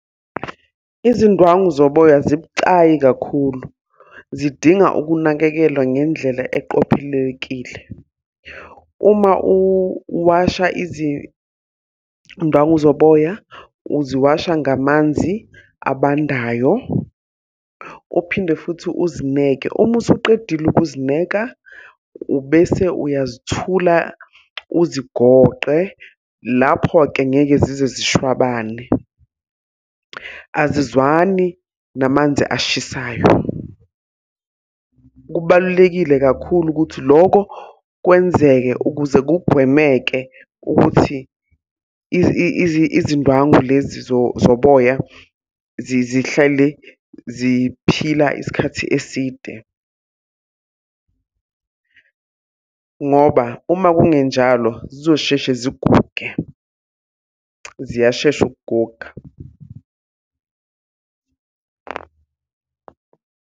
Izindwangu zoboya zibucayi kakhulu. Zidinga ukunakekelwa ngendlela eqophelekile. Uma uwasha izindwangu zoboya, uziwasha ngamanzi abandayo. Uphinde futhi uzineke, uma usuqedile ukuzineka, ubese uyazithula uzigoqe. Lapho-ke ngeke zize zishwabane. Azizwani namanzi ashisayo. Kubalulekile kakhulu ukuthi loko kwenzeke ukuze kugwemeke ukuthi izindwangu lezi zoboya zihlale ziphila isikhathi eside. Ngoba uma kungenjalo zizosheshe ziguge. Ziyashesha ukuguga.